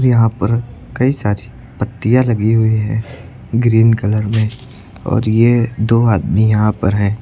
यहां पर कई सारी पत्तियां लगी हुई हैं ग्रीन कलर में और यह दो आदमी यहां पर हैं।